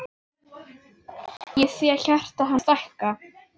Ég sé hjarta hans stækka.